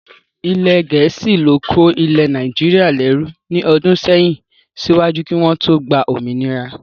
Ilẹ̀ gẹ̀ẹ́sì ló kó ilẹ̀ Nàìjíríà lẹ́rú ní ọdún sẹ́yìn síwájú kí wọ́n tó gba òmìnira